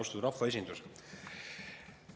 Austatud rahvaesindus!